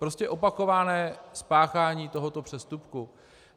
Prostě opakované spáchání tohoto přestupku.